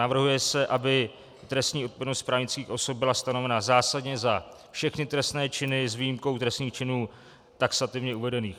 Navrhuje se, aby trestní odpovědnost právnických osob byla stanovena zásadně za všechny trestné činy s výjimkou trestných činů taxativně uvedených.